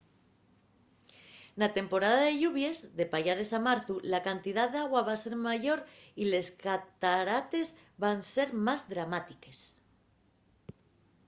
na temporada de lluvies de payares a marzu la cantidá d’agua va ser mayor y les catarates van ser más dramátiques